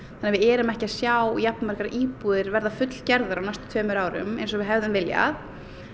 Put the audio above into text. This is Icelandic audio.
að við erum ekki að sjá jafnmargar íbúðir verða fullgerðar á næstu tveimur árum eins og við hefðum viljað